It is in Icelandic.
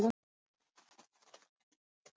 Hefur þú nokkurntíma orðið hræddur Pétur?